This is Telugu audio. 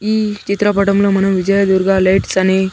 ఈ చిత్రపటంలో మనం విజయ దుర్గా లైట్స్ అని.